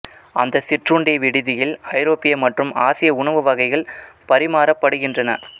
அந்த சிற்றுண்டி விடுதியில் ஐரோப்பிய மற்றும் ஆசிய உணவு வகைகள் பரிமாறப்படுகின்றன